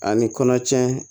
A ni kɔnɔtiɲɛ